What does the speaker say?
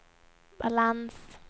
balans